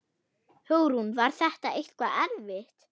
Hugrún: Var þetta eitthvað erfitt?